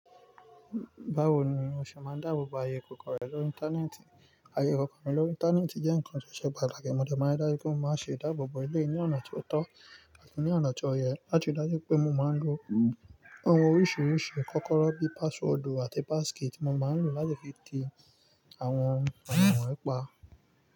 Báwo ni o ṣe máa ń dáàbò bo ayé ikòkó rẹ lórí íńtánẹ́ẹ̀tì? Ayé ikòkó mi lórí íńtánẹ́ẹ̀tì jẹ́ ǹkan tó ṣe pàtàkì. Mo dẹ̀ máa rí dájú pé mo máa ń ṣe ìdáàbò bo eléyìí ní ọ̀nà tí ó tọ́ àti ní ọ̀nà tí ó yẹ. Láti rí dájú pé mo máa ń lo ohun oríṣiríṣi bí kọ́kọ́rọ́, password àti passkey tí mo máa ńlò láti fi tì àwọn ǹkan wọn yìí pa.